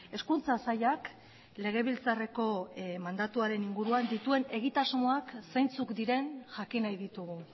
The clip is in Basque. hezkuntza sailak legebiltzarreko mandatuaren inguruan dituen egitasmoak zeintzuk diren jakin nahi ditugu